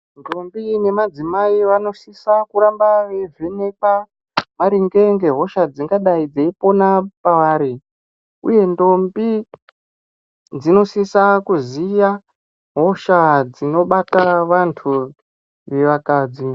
Ndombi nemaidzimai vanosisa kuramba veivhenekwa maringe ngehosha dzingadai dzeipona pavari, uye ndombi dzinosisa kuziya hosha dzinobata vantu vevakadzi.